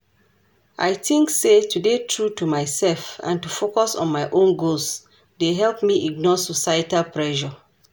I think say to dey true to myself and to focus on my own goals dey help me ignore societal pressure.